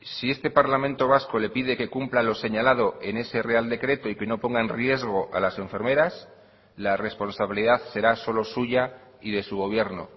si este parlamento vasco le pide que cumpla lo señalado en ese real decreto y que no ponga en riesgo a las enfermeras la responsabilidad será solo suya y de su gobierno